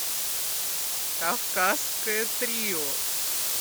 кавказское трио